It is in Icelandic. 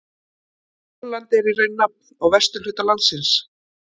Holland er í raun nafn á vesturhluta landsins.